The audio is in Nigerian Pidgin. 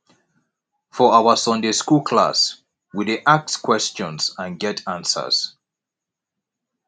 for our sunday skool class we dey ask questions and get answers